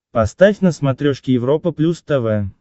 поставь на смотрешке европа плюс тв